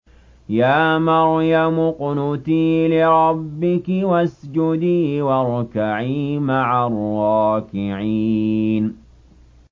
يَا مَرْيَمُ اقْنُتِي لِرَبِّكِ وَاسْجُدِي وَارْكَعِي مَعَ الرَّاكِعِينَ